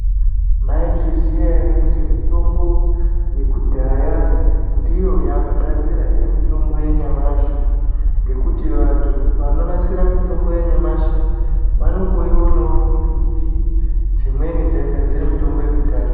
Maizviziya ere kuti mitombo yekudhaya ndiyo yaakugadzira mitombo yanyamashi ngekuti vanthu vanonasira mitombo yanyamashi vanongoionao kumbiti dzimweni dzaigadzira mitombo yekudhaya.